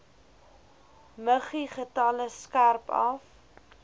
muggiegetalle skerp af